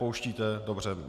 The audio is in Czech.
Pouštíte, dobře.